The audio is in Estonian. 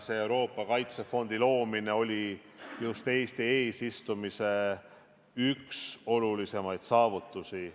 Euroopa kaitsefondi loomine oli just Eesti eesistumise aja üks olulisimaid saavutusi.